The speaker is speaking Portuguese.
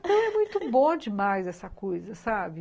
Então é muito bom demais essa coisa, sabe?